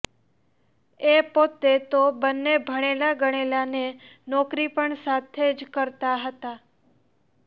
એ પોતે તો બન્ને ભણેલા ગણેલા ને નોકરી પણ સાથે જ કરતાં હતાં